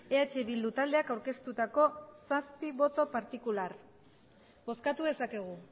eh bildu taldeak aurkeztutako zazpi boto partikular bozkatu dezakegu